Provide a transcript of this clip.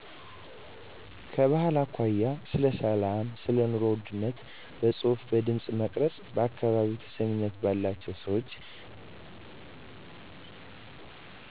ከባህል አኮያ ስለ ሰላም ሰለኑሮ ውድነት በጽሁፍ በድምጽ መቅረጽ በአካባቢው ተሰሚነት ባላቸው ሰወች